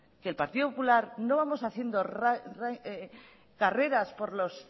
que el partido popular no vamos haciendo carreras por las